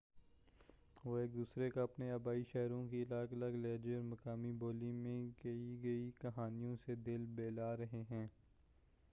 وہ ایک دوسرے کا اپنے آبائی شہروں کی الگ الگ لہجے اور مقامی بولی میں کہی گئی کہانیوں سے دل بہلا رہے ہیں